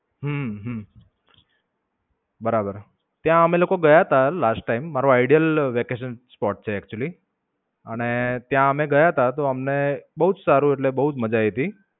હમ બરાબર, ત્યાં અમે લોકો ગયા તા last time મારુ Idle spot vacation છે એક્ચુલી અને ત્યાં અમે ગયા તા તો અમને બોવ જ સારું એટલે બોવ જ માજા આવી તી.